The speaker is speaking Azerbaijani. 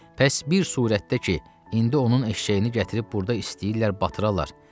Bəs bir surətdə ki, indi onun eşşəyini gətirib burda istəyirlər batırarlar.